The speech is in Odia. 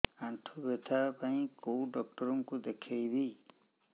ଆଣ୍ଠୁ ବ୍ୟଥା ପାଇଁ କୋଉ ଡକ୍ଟର ଙ୍କୁ ଦେଖେଇବି